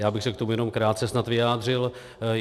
Já bych se k tomu jenom krátce snad vyjádřil.